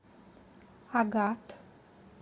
агат